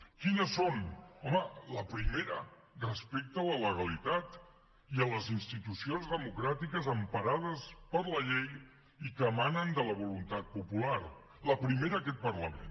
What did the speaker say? quines són home la primera respecte a la legalitat i a les institucions democràtiques emparades per la llei i que emanen de la voluntat popular la primera aquest parlament